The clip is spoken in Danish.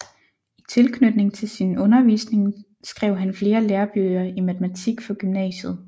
I tilknytning til sin undervisning skrev han flere lærebøger i matematik for gymnasiet